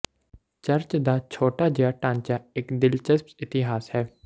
church ਦਾ ਛੋਟਾ ਜਿਹਾ ਢਾਂਚਾ ਇੱਕ ਦਿਲਚਸਪ ਇਤਿਹਾਸ ਹੈ